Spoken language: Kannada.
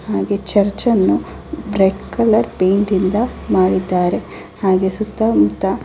ಹಾಗೆ ಚರ್ಚ್ ಅನ್ನು ರೆಡ್ ಕಲರ್ ಪೈಂಟಿಂದ ಮಾಡಿದ್ದಾರೆ ಹಾಗೆ ಸುತ್ತ ಮುತ್ತ --